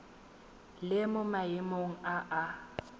le mo maemong a a